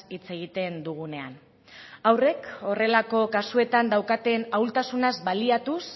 hitz egiten dugunean haurrek horrelako kasuetan daukaten ahultasunaz baliatuz